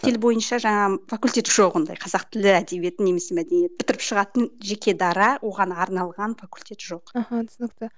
тіл бойынша жаңағы факультет жоқ ондай қазақ тілі әдебиеті немесе мәдениет бітіріп шығатын жеке дара оған арналған факультет жоқ аха түсінікті